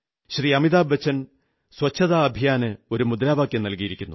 അമിതാഭ് ബച്ചൻ ശുചിത്വ യജ്ഞത്തിന് ഒരു മുദ്രാവാക്യം നൽകിയിരിക്കുന്നു